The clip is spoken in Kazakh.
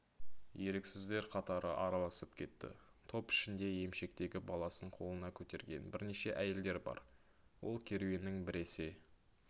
еріксіздер қатары араласып кетті топ ішінде емшектегі баласын қолына көтерген бірнеше әйелдер бар ол керуеннің біресе